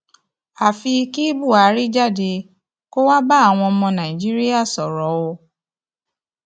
àfi kí buhari jáde kó wáá bá àwọn ọmọ nàìjíríà sọrọ o